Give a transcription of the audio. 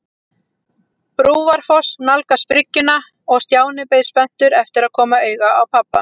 Brúarfoss nálgast bryggjuna og Stjáni beið spenntur eftir að koma auga á pabba.